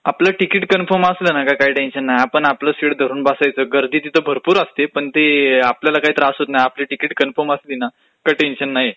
आपलं ticket confirm असलं की काही टेन्शन नाही, आपण आपलं सीट घेऊन बसायचं, गर्दी तिथं भरपूर असते पण तेआपल्याला काही त्रास होत नाही. आपलं तिकीट कन्फर्म असली ना का टेन्शन लाही येत,